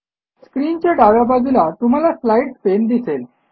स्क्रीनच्या डाव्या बाजूला तुम्हाला स्लाईड्स पाने दिसेल